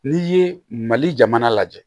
N'i ye mali jamana lajɛ